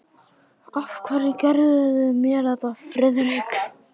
Af hverju gerðuð þið mér þetta, Friðrik?